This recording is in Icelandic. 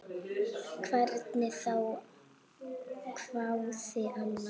Hvernig þá, hváði Anna.